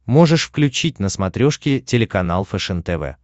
можешь включить на смотрешке телеканал фэшен тв